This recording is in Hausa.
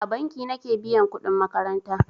A banki nake biyan kudin makaranta.